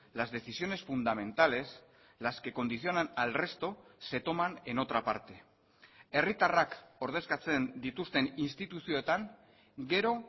las decisiones fundamentales las que condicionan al resto se toman en otra parte herritarrak ordezkatzen dituzten instituzioetan gero